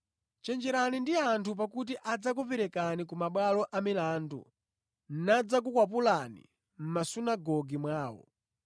Chenjerani ndi anthu pakuti adzakuperekani ku mabwalo amilandu nadzakukwapulani mʼmasunagoge mwawo.